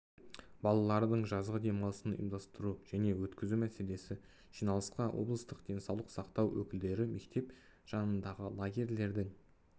балалардың жазғы демалысын ұйымдастыру және өткізу мәселесі жиналысқа облыстық денсаулық сақтау өкілдері мектеп жанындағы лагерлердің